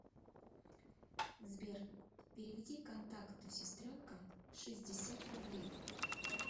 сбер переведи контакту сестренка шестьдесят рублей